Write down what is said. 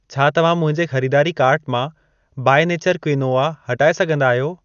छा तव्हां मुंहिंजे ख़रीदारी कार्ट मां बाई नेचरु क्विनोआ हटाए सघंदा आहियो?